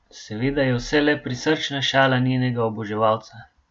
Seveda je vse le prisrčna šala njenega oboževalca.